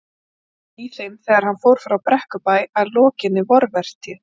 Og var hann í þeim þegar hann fór frá Brekkubæ að lokinni vorvertíð.